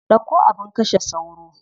Ɗauko abin kashe sauro.